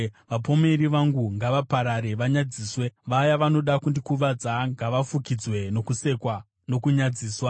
Vapomeri vangu ngavaparare vanyadziswe; vaya vanoda kundikuvadza ngavafukidzwe nokusekwa nokunyadziswa.